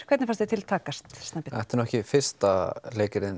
hvernig fannst þér til takast Snæbjörn þetta er ekki fyrsta